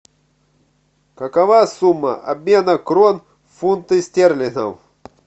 какова сумма обмена крон в фунты стерлингов